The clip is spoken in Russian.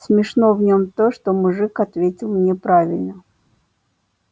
смешно в нём то что мужик ответил неправильно